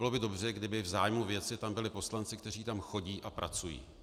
Bylo by dobře, kdyby v zájmu věci tam byli poslanci, kteří tam chodí a pracují.